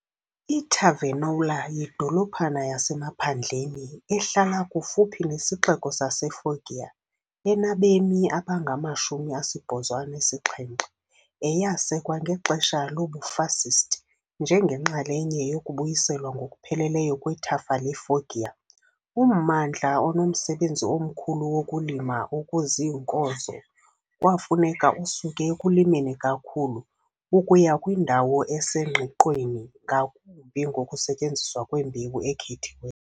I-Tavernola yidolophana yasemaphandleni ehlala kufuphi nesixeko saseFoggia, enabemi abangama-87, eyasekwa ngexesha lobuFascist njengenxalenye yokubuyiselwa ngokupheleleyo kwethafa leFoggia. Ummandla onomsebenzi omkhulu wokulima okuziinkozo kwafuneka usuke ekulimeni kakhulu ukuya kwindawo esengqiqweni ngakumbi ngokusetyenziswa kwembewu ekhethiweyo.